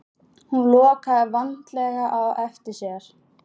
Hún lokaði vandlega á eftir sér.